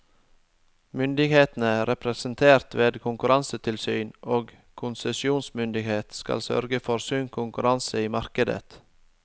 Myndighetene, representert ved konkurransetilsyn og konsesjonsmyndighet, skal sørge for sunn konkurranse i markedet.